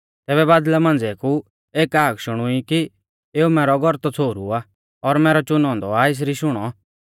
तैबै बादल़ा मांझ़िऐ कु एक हाक शुणुई कि एऊ मैरौ गौरतौ छ़ोहरु आ और मैरौ च़ुनौ औन्दौ आ एसरी शुणौ